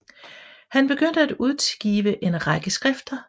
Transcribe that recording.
Han begyndte at udgive en række skrifter